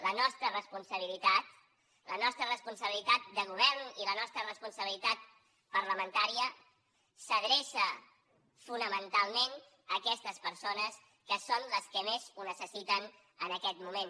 la nostra responsabilitat la nostra responsabilitat de govern i la nostra responsabilitat parlamentària s’adreça fonamentalment a aquestes persones que són les que més ho necessiten en aquest moment